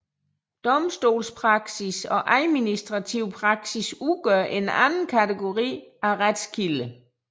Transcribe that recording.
Domstolspraksis og administrativ praksis udgør en anden kategori af retskilder